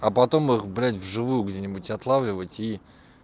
а потом их блядь в живую где-нибудь отлавливать и